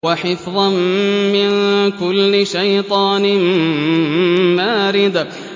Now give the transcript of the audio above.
وَحِفْظًا مِّن كُلِّ شَيْطَانٍ مَّارِدٍ